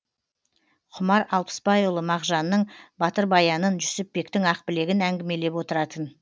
құмар алпысбайұлы мағжанның батыр баянын жүсіпбектің ақбілегін әңгімелеп отыратын